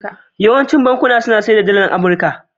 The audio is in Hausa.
Yawaicin bankuna na sayar da Dalar Amurka.